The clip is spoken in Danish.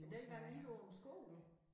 Men denne gang ikke på skole